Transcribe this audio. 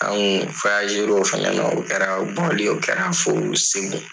Anw kun o fana na o kɛra bɔli ye o kɛra fo SEGU.